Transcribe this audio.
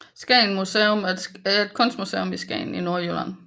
Skagens Museum er et kunstmuseum i Skagen i Nordjylland